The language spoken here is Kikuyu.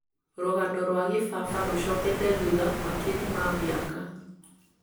rũgano rwa kĩbaba rũcokete thutha makiri ma mĩaka